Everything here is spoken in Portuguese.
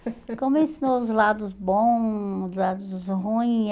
Como ele ensinou os lados bons, os lados ruim.